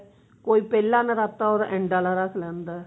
ਕੋਈ ਪਹਿਲਾ ਨਰਾਤਾ ਉਹਦਾ end ਆਲਾ ਰੱਖ ਲੈਂਦਾ